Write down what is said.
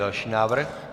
Další návrh?